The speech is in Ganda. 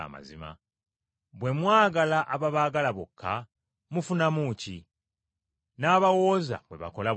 Bwe mwagala ababaagala bokka, mufunamu ki? N’abawooza bwe bakola bwe batyo.